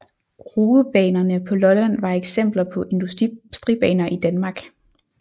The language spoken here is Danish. Roebanerne på Lolland var eksempler på industribaner i Danmark